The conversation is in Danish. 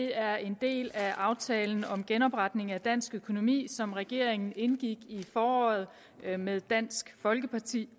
er en del af aftalen om genopretningen af dansk økonomi som regeringen indgik i foråret med dansk folkeparti